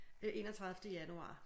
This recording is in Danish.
Øh enogtredivte januar